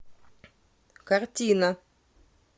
картина